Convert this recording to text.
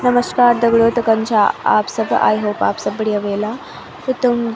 नमश्कार दगडियों तो कन छा आप सब आई होप आप सब बढ़िया ह्वला त तुम --